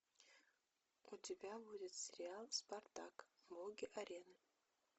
у тебя будет сериал спартак боги арены